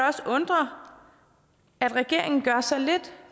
også undre at regeringen gør så lidt